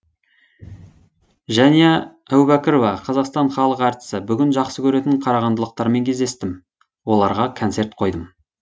жәния әубәкірова қазақстанның халық әртісі бүгін жақсы көретін қарағандылықтармен кездестім оларға концерт қойдым